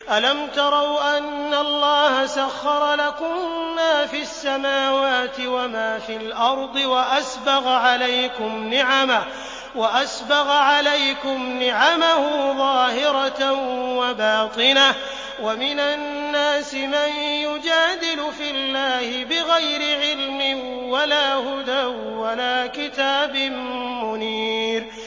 أَلَمْ تَرَوْا أَنَّ اللَّهَ سَخَّرَ لَكُم مَّا فِي السَّمَاوَاتِ وَمَا فِي الْأَرْضِ وَأَسْبَغَ عَلَيْكُمْ نِعَمَهُ ظَاهِرَةً وَبَاطِنَةً ۗ وَمِنَ النَّاسِ مَن يُجَادِلُ فِي اللَّهِ بِغَيْرِ عِلْمٍ وَلَا هُدًى وَلَا كِتَابٍ مُّنِيرٍ